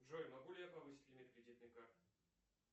джой могу ли я повысить лимит кредитной карты